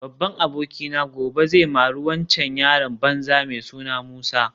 Babban abokina gobe zai mari waccan yaron banza mai suna Musa